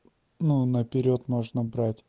ну наперёд можно брать